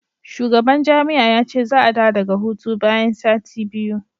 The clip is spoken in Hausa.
shugaban jami'a ya ce za a dawo daga hutu bayan sati biyu